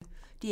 DR P1